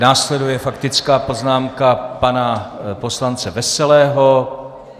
Následuje faktická poznámka pana poslance Veselého.